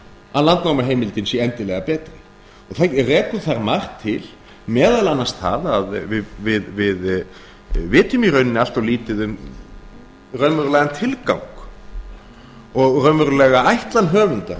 að landnámuheimildin sé endilega betri rekur þar margt til meðal annars það að við vitum í rauninni allt of lítið um raunverulegan tilgang og raunverulega ætlan höfunda